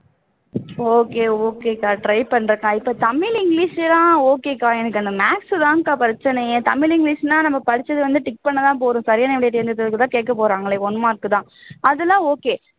okay okay க்கா try பன்றேன்க்கா இப்போ தமிழ் english ல எல்லாம் okay க்கா எனக்கு இந்த maths தான்க்கா பிரச்சினையே தமிழ் english னா நம்ம படிச்சது வந்து tick பண்ணுனா போதும் சரியான விடை எழுதுதான் கேக்கப்போறான் one mark தான் அது எல்லாம் okay